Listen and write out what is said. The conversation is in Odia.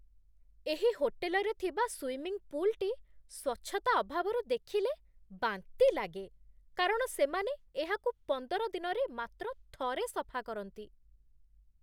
ଏହି ହୋଟେଲରେ ଥିବା ସୁଇମିଂ ପୁଲ୍ଟି, ସ୍ୱଚ୍ଛତା ଅଭାବରୁ, ଦେଖିଲେ ବାନ୍ତି ଲାଗେ, କାରଣ ସେମାନେ ଏହାକୁ ପନ୍ଦର ଦିନରେ ମାତ୍ର ଥରେ ସଫା କରନ୍ତି।